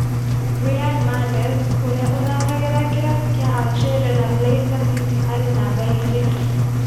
Riyad Mahrez ũria ũthakagira kĩravũkĩa Algeria na Leicester City arĩ numba igĩrĩ.